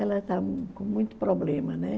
Ela está com muito problema, né?